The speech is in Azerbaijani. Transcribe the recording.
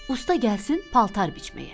Usta gəlsin paltar biçməyə.